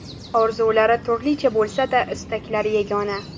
Orzulari turlicha bo‘lsa-da istaklari yagona.